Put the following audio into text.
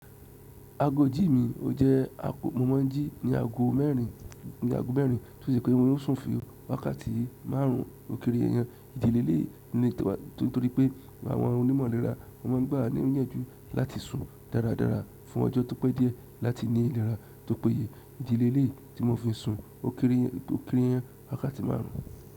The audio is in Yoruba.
Aago ijí mi, o jẹ́ mo máa ń jí ní aago mẹ́rin, tó ṣe pé mo maa n sùn fún wákàtí márùn ún ó kiri èèyàn. Ìdí leleyi nítorí pé àwọn onímọ̀ ìlera won máa ń gbà wa ni yanju láti sùn dáradára fún ọjọ́ tó pẹ́ díẹ̀ láti ní ìlera tó péye. Ìdí lèleyi tí mo fi sùn ó kere yàn wákàtí márùn ún.